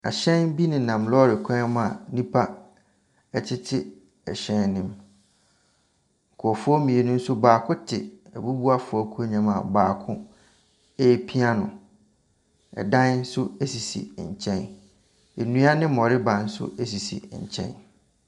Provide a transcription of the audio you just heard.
Ahyɛn bi nenam lɔɔre kwan mu a nnipa tete ɛhyɛn no mu. Nkrɔfoɔ mmienu nso baako te abubuafoɔ akonnwa mu a baako repia no. Ɛdan nso sisi nkyɛn. Nnua ne mmoreba nso sisi nkyɛn.